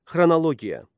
Xronologiya.